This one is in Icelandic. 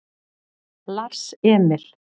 Lars Emil